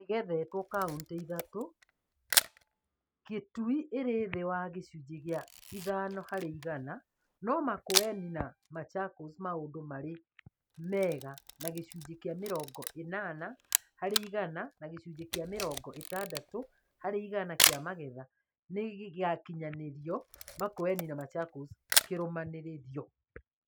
Thoroko igethetwo kauntĩ ithatũ, Kitui ĩrĩ thĩ wa gĩcunjĩ gĩa ithano harĩ igana no Makueni na Machakos maũndũ marĩ mega na gĩcunjĩ kĩa mĩrongo ĩnana harĩ igana na gĩcunjĩ kĩa mĩrongo ĩtandatũ harĩ igana kĩa magetha nĩgĩakinyanĩirio Makueni na Machakos kĩrũmanĩrĩrio